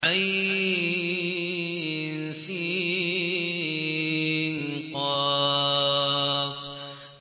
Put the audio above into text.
عسق